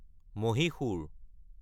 মাইছ'ৰ